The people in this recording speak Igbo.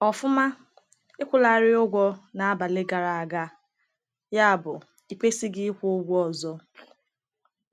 Ọfụma, ị kwụlarị ụgwọ n’abalị gara aga, yabụ ịkwesịghị ịkwụ ụgwọ ọzọ.